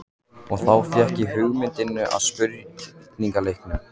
Og þá fékk ég hugmyndina að spurningaleiknum.